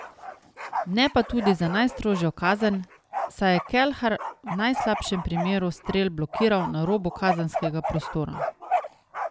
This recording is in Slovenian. Ne pa tudi za najstrožjo kazen, saj je Kelhar v najslabšem primeru strel blokiral na robu kazenskega prostora.